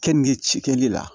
Keninge cikɛli la